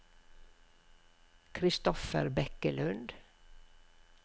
Christopher Bekkelund